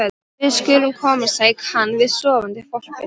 Við skulum komast, sagði hann við sofandi hvolpinn.